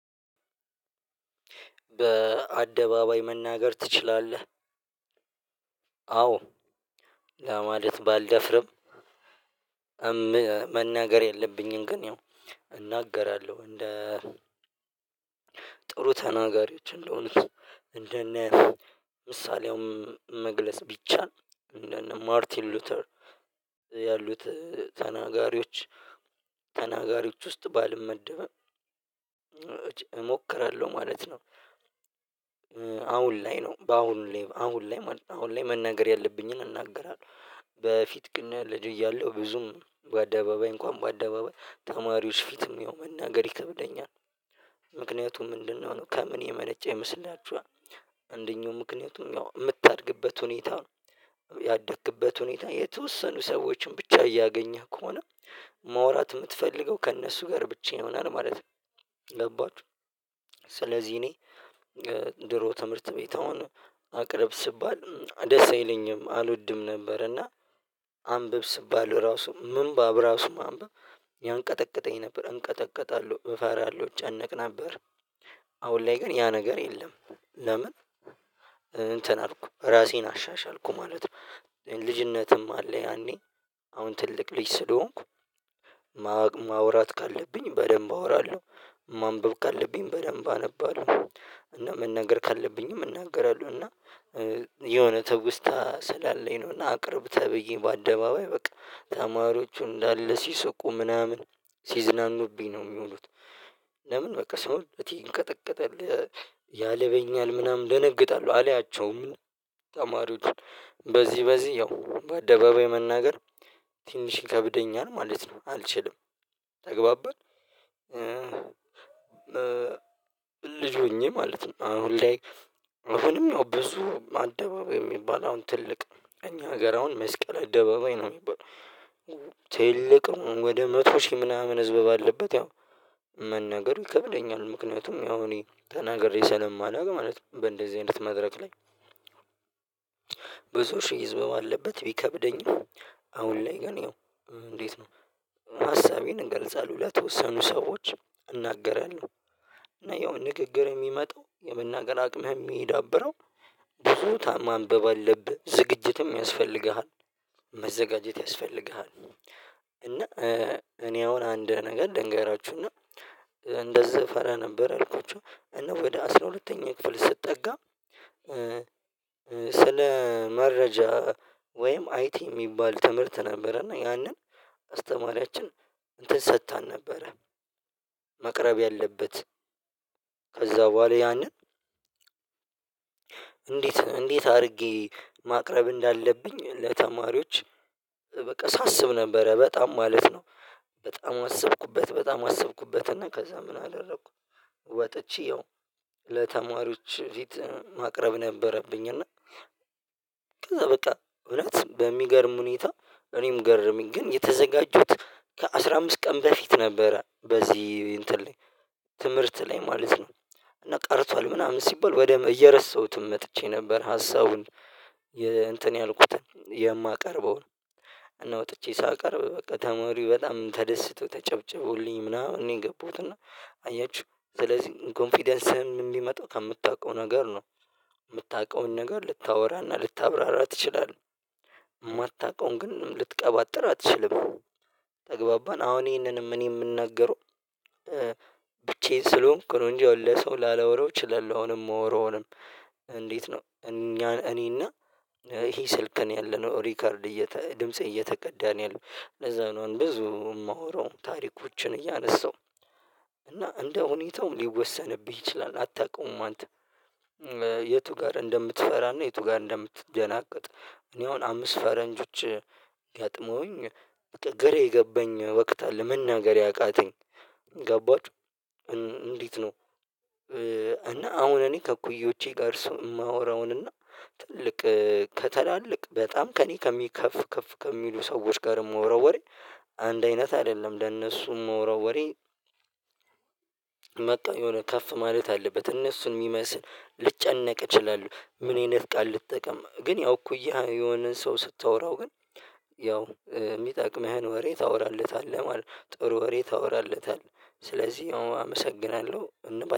በአደባባይ መናገር ትችላለህ? አዎ ለማለት ባልደፍርም መናገር ያለብኝን ግን ያው እናገራለሁ እንደ ጥሩ ተናጋሪዎች እንደሆነ እንደነ ምሳሌውም መግለጽ ቢቻል እንደነ ማርቲን ሉተር ያሉት ተናጋሪዎች ተናጋሪዎች ውስጥ ባልመደብም እሞክራለሁ ማለት ነው። አሁን ላይ ነው በአሁኑ ላይ አሁን ላይ አሁን ላይ መናገር ያለብኝን እናገራለሁ በፊት ግን ልግ እያለሁ ብዙም በአደባባይ እንኳን በአደባባይ ተማሪዎች ፊትም ያው መናገር ይከብደኛል። ምክንያቱም እንድንሆን ከምን የመነጨ ይመስላችኋል አንደኛው ምክንያቱም የምታድግበት ሁኔታ ነው ያደክበት ሁኔታ የተወሰኑ ሰዎችን ብቻ እያገኘህ ከሆነ ማውራት የምትፈልገው ከእነሱ ጋር ብቻ ይሆናል ማለት ነው። ገባችሁ ስለዚህ እኔ ድሮ ትምህርት ቤት አሁን አቅርብ ስባል ደስ አይለኝም አልወድም ነበር እና አንብብ ስባለው ራሱ ምንባብ ራሱ ማንበብ ያንቀጠቀጠኝ ነበር እንቀጠቀጣለሁ እፈራለሁ ጨነቅ ነበር። አሁን ላይ ግን ያ ነገር የለም። ለምን እንትን አልኩ ራሴን አሻሻልኩ ማለት ነው። ልጅነትም አለ ያኔ አሁን ትልቅ ልጅ ስለሆንኩ ማውራት ካለብኝ በደንብ አወራለሁ ማንበብ ካለብኝ በደንብ አነባለሁ እና መናገር ካለብኝም እናገራለሁ። እና የሆነ ተውስታ ስላለኝ ነው እና አቅርብ ተብዬ በአደባባይ በቃ ተማሪዎቹ እንዳለ ሲስቁ ምናምን ሲዝናኑብኝ ነው የሚሉት። ለምን በቃ ሰውነቴ ይንቀጠቀጣል ያለበኛል ምናምን እደነግጣለሁ አላያቸውም ተማሪዎቹ በዚህ በዚህ ያው በአደባባይ መናገር ትንሽ ይከብደኛ ነው ማለት ነው አልችልም። ተገባባን ልጅ ሆኜ ማለት ነው። አሁንም ያው ብዙ አደባባይ የሚባል አሁን ትልቅ እኛ ሀገር አሁን መስቀል አደባባይ ነው የሚባለው ትልቅ ወደ መቶ ሺህ ምናምን ህዝብ ባለበት ያው መናገሩ ይከብደኛል ምክንያቱም ያው እኔ ተናግሬ ሰለማላውቅ ማለት ነው በእንደዚህ አይነት መድረክ ላይ ብዙ ሺህ ህዝብ አለበት። ቢከብደኝም አሁን ላይ ገና እንዴት ነው? ሀሳቤን እገልጻለሁ ለተወሰኑ ሰዎች እናገራለሁ እና ያው ንግግር የሚመጣው የመናገር አቅምህ የሚዳብረው ብዙ ታ ማንበብ አለብህ ዝግጅትም ያስፈልግሃል መዘጋጀት ያስፈልግሃል። እና እኔ አሁን አንድ ነገር ልንገራችሁና እና እንደዚህ ፈራ ነበር አልኩት እና ወደ አስራ ሁለተኛ ክፍል ስጠጋ ስለ መረጃ ወይም አይቲ የሚባል ትምህርት ነበረና ያንን አስተማሪያችን እንትን ሰጥታን ነበረ። መቅረብ ያለበት ከዛ በኋላ ያንን እንዴት እንዴት አድርጌ ማቅረብ እንዳለብኝ ለተማሪዎች በቃ ሳስብ ነበረ በጣም ማለት ነው። በጣም አሰብኩበት በጣም አሰብኩበት ከዛ ምን አላለኩም ወጥቼ ያው ለተማሪዎች ፊት ማቅረብ ነበረብኝ እና። ከዛ በቃ እውነት በሚገርም ሁኔታ እኔም ገረመኝ ግን የተዘጋጀሁት ከአስራ አምስት ቀን በፊት ነበረ በዚህ እንትን ላይ ትምህርት ላይ ማለት ነው። እና ቀርቷል ምናምን ሲባል በደንብ እየረሳሁትም መጥቼ ነበር ሀሳቡን እንትን ያልኩትን የማቀርበው እና ወጥቼ ሳቀርብ በቃ ተማሪ በጣም ተደስቶ ተጨብጭቦልኝ ምናምን ነው የገባውት እና አያችሁ ስለዚህ ኮንፊደንስህን የምታውቀው ነገር ነው። የምታውቀውን ነገር ልታወራና ልታብራራ ትችላለህ የማታውቀውን ግን ልትቀባጥር አትችልም። ተግባባን አሁን ይሄንንም እኔ የምናገረው ብቻዬን ስለሆንኩ ነው እንጂ ለሰው ላላወራው እችላለሁ አሁንም እማወራውንም እንዴት ነው እኛ እኔና ይሄ ስልክ ያለነው ሪከርድ ድምፄ እየተቀዳን ያለው ለዛ ነው ብዙ የማወራው ታሪኮችን እያነሳው እና እንደ ሁኔታው ሊወሰንብኝ ይችላል። አታውቁም አንተ የቱ ጋር እንደምትፈራና የቱ ጋር እንደምትደናቀጥ? እኔ አሁን አምስት ፈረንጆች ገጥመውኝ ግራ የገባኝ ወቅት አለ ምን መናገር ያቃተኝ። ገባችሁ እንዴት ነው? እና አሁን እኔ ከኩዮቼ ጋር እሱ የማወራውን እና ትልቅ ከተላለቅ በጣም ከእኔ ከሚከፍ ከፍ ከሚሉ ሰዎች ጋርም የማወራው ወሬ አንድ አይነት አይደለም ለእነሱም እማወራው ወሬ። መጣ የሆነ ከፍ ማለት አለበት እነሱን የሚመስል ልጨነቅ እችላለሁ ምን አይነት ቃል ልጠቀም ግን ያው እኮ ያ የሆነን ሰው ስታወራው ግን ያው የሚጠቅመህን ወሬ ታወራለታለህ ማለት ጥሩ ወሬ ታወራለታለህ። ስለዚህ አመሰግናለሁ እንባል